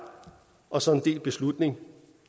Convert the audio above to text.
og som en delt beslutning